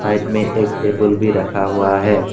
Side में एक table भी रखा हुआ है।